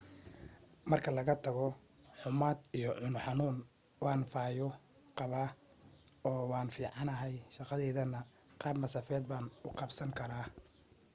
marka laga tago xummad iyo cuno xanuun waan fayo qabaa oo waan fiicnahay shaqadaydana qaab masaafeed baan u qabsan karaa